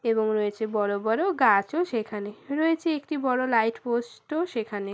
এবং রয়েছে বড় বড় গাছও সেখানে। রয়েছে একটি বড় লাইট পোস্ট -ও সেখানে।